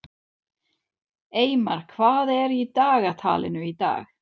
Eymar, hvað er í dagatalinu í dag?